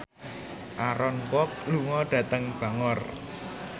Aaron Kwok lunga dhateng Bangor